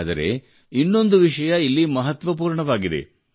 ಆದರೆ ಇನ್ನೊಂದು ವಿಷಯ ಇಲ್ಲಿ ಮಹತ್ವಪೂರ್ಣವಾಗಿದೆ